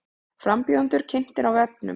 Frambjóðendur kynntir á vefnum